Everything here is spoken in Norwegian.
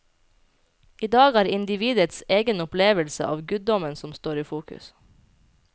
Idag er det individets egen opplevelse av guddommen som står i fokus.